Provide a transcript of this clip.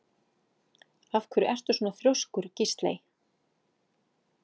Af hverju ertu svona þrjóskur, Gísley?